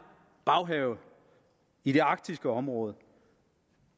baghave i det arktiske område